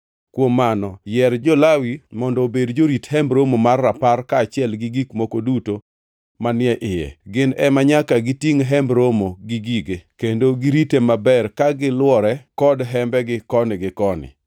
Kuom mano, yier jo-Lawi mondo obed jorit Hemb Romo mar Rapar kaachiel gi gik moko duto manie iye. Gin ema nyaka gitingʼ Hemb Romo gi gige; kendo girite maber ka gilwore kod hembegi koni gi koni.